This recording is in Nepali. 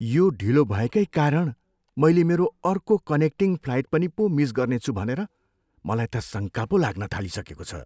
यो ढिलो भएकै कारण मैले मेरो अर्को कनेक्टिङ फ्लाइट पनि पो मिस गर्नेछु भनेर मलाई त शङ्का पो लाग्न थालिसकेको छ।